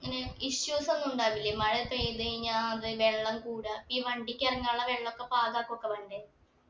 ഇങ്ങനെ issues ഒന്നു ഉണ്ടാവൂല്ലേ മഴ പെയ്തു കഴിഞ്ഞാ അത് വെള്ളം കൂടാ ഈ വണ്ടിക്ക് ഇറങ്ങാനുള്ള വെള്ളൊക്കെ പാകാകൊക്കെ വേണ്ടേ